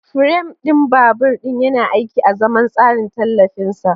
Firam ɗin babur ɗin yana aiki azaman tsarin tallafin sa.